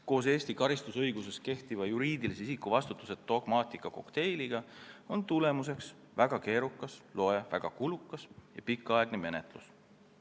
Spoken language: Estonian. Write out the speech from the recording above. Koos Eesti karistusõiguses kehtiva juriidilise isiku vastutuse dogmaatika kokteiliga on tagajärjeks väga keerukas ja pikaaegne menetlus.